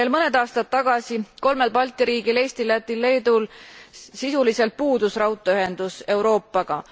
Veel mõned aastad tagasi kolmel Balti riigil Eestil, Lätil, Leedul sisuliselt puudus raudteeühendus Euroopaga.